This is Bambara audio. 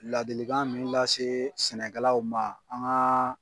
Ladilikan min lase sɛnɛkɛlaw ma an ka.